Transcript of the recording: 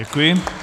Děkuji.